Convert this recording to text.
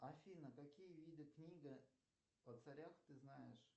афина какие виды книга о царях ты знаешь